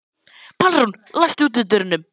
Pálrún, læstu útidyrunum.